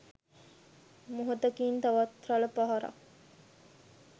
මොහොතකින් තවත් රළ පහරක්